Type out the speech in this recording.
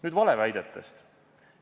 Nüüd valeväidetest.